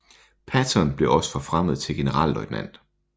Patton blev også forfremmet til generalløjtnant